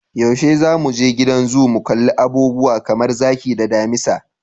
Yaushe zamu je gidan zoo mu kalli abubuwa kamar zaki da damisa?